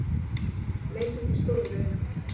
Leit út í stóru laugina.